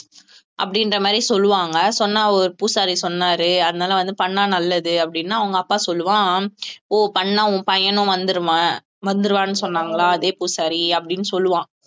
அப்படின்ற மாதிரி சொல்லுவாங்க சொன்னா ஒரு பூசாரி சொன்னாரு அதனால வந்து பண்ணா நல்லது அப்படின்னு அவங்க அப்பா சொல்லுவான் ஓ பண்ணா உன் பையனும் வந்துருவா வந்துருவான்னு சொன்னாங்களா அதே பூசாரி அப்படின்னு சொல்லுவான்